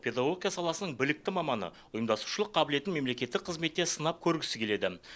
педагогика саласының білікті маманы ұйымдастырушылық қабілетін мемлекеттік қызметте сынап көргісі келеді